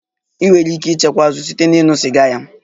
Ị nwere ike ịchekwa azụ site na ịṅụ sịga ya